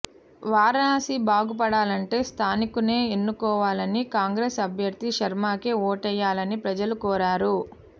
వారణాసి బాగుపడాలంటే స్థానికున్నే ఎన్నుకోవాలని కాంగ్రెస్ అభ్యర్థి శర్మకే ఓటేయాలని ప్రజలను కోరారు